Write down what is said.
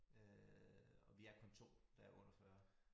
Øh og vi er kun 2 der er under 40